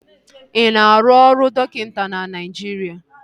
Ị na-arụ ọrụ dọkịta na Naịjiria?